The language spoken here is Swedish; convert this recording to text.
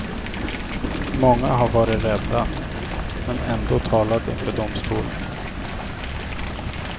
Många har varit rädda, men ändå talat inför domstolen.